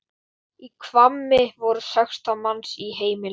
Í Hvammi voru sextán manns í heimili.